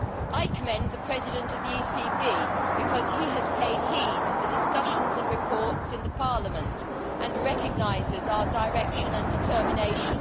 I commend the President of the ECB because he has paid heed to the discussions and reports in the Parliament and recognises our direction and determination.